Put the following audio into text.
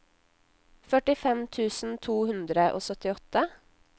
førtifem tusen to hundre og syttiåtte